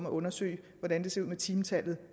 undersøge hvordan det ser ud med timetallet